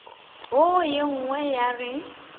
wo ye nngwe ya re